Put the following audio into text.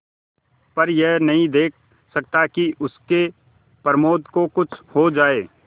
पर यह नहीं देख सकता कि उसके प्रमोद को कुछ हो जाए